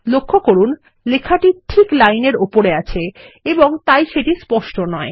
লক্ষ্য করুন লেখাটি ঠিক লাইন এর উপরে এবং তাই সেটি স্পষ্ট নয়